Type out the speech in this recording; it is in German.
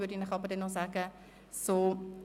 Darüber informiere ich dann rechtzeitig.